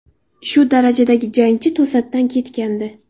Shu darajadagi jangchi to‘satdan ketgandi.